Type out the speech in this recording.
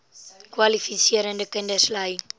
kwalifiserende kinders ly